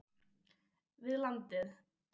við landið.